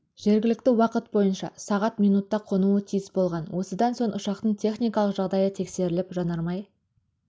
жергілікті уақыт бойынша сағат минутта қонуы тиіс болған осыдан соң ұшақтың техникалық жағдайы тексеріліп жанармай